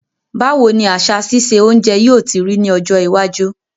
Báwoni àsà sise ounje yio ti rí ní ọjọ́ iwájú